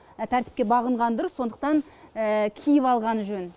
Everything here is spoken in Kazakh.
тәртіпке бағынған дұрыс сондықтан киіп алғаны жөн